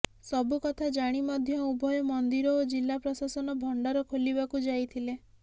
ସବୁ କଥା ଜାଣି ମଧ୍ୟ ଉଭୟ ମନ୍ଦିର ଓ ଜିଲ୍ଲା ପ୍ରଶାସନ ଭଣ୍ଡାର ଖୋଲିବାକୁ ଯାଇଥିଲେ